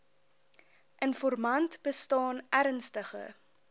informant bestaan ernstige